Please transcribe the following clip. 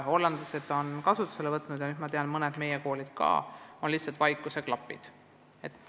Hollandlased on kasutusele võtnud vaikuseklapid ja ma tean, et seda on teinud mõned meie koolid ka.